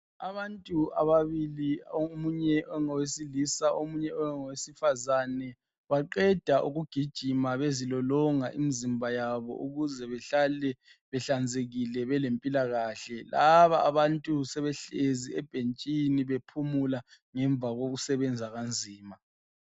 Abantu ababili omunye ongowesilisa , omunye ongowesifazane baqeda ukugijima bezilolonga imizimba yabo ukuze behlale behlanzekile belempila kahle. Laba abantu sebehlezi ebhentshini bephumula ngemva kokusebenza kanzima.